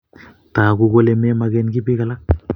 Tagu kole memoken kiy piik alak